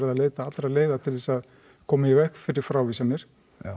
að leita allra leiða til þess að koma í veg fyrir frávísanir